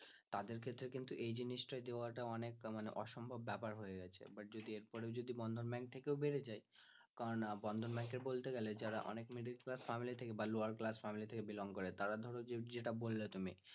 তাদের ক্ষেত্রে কিন্তু এই জিনিসটা দেওয়াটা অনেকটা মানে অসম্ভব ব্যাপার হয়ে গেছে but এর পর ও যদি বন্ধন bank থেকে ও বেড়ে যায় কারন না বন্ধন bank বলতে গেলে যারা অনেক middle class family থেকে বা lower class familybelong করে তারা ধর যে যেটা বললে তুমি